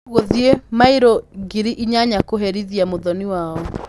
Gũthiĩ mairũ ngiri inyanya kũherithia mũthoni wao